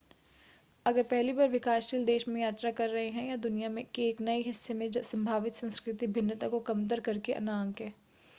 अगर पहली बार विकासशील देश में यात्रा कर रहे हैं या दुनिया के एक नए हिस्से में संभावित संस्कृति भिन्नता को कमतर कर के न आंकें